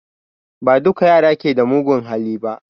Ba duka yara ke da mugun hali ba